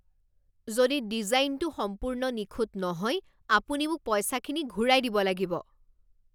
যদি ডিজাইনটো সম্পূৰ্ণ নিখুঁত নহয়, আপুনি মোক পইচাখিনি ঘূৰাই দিব লাগিব।